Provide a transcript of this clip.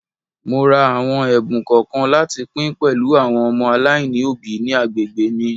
Mo ra àwọn ẹ̀bùn kọ̀ọ̀kan láti pín pẹ̀lú àwọn ọmọ aláìní òbí ní agbègbè mi.